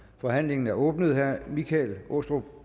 forhandlingen er åbnet herre michael aastrup